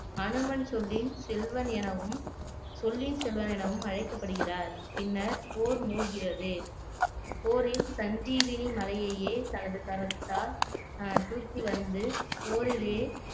அனுமன் சொல்லின் செல்வன் எனவும் சொல்லின் செல்வன் எனவும் அழைக்கப்படுகிறார் பின்னர் போர் மூள்கிறது போரில் சஞ்சீவினி மலையையே தனது கரத்தால் ஆஹ் தூக்கி வந்து போரிலே